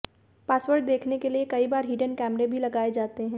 password देखने के लिए कई बार हिडन कैमरे भी लगाए जाते हैं